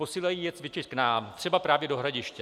Posílají je cvičit k nám - třeba právě do Hradiště.